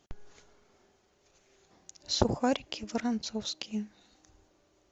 сухарики воронцовские